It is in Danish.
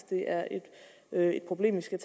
det er et problem vi skal